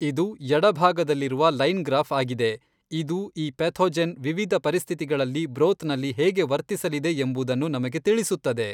ಇದು ಎಡಭಾಗದಲ್ಲಿರುವ line graph ಆಗಿದೆ ಇದು ಈ ಪೆಥೊಜೆನ್ ವಿವಿಧ ಪರಿಸ್ಥಿತಿಗಳಲ್ಲಿ ಬ್ರೋತ್ ನಲ್ಲಿ ಹೇಗೆ ವರ್ತಿಸಲಿದೆ ಎಂಬುದನ್ನು ನಮಗೆ ತಿಳಿಸುತ್ತದೆ.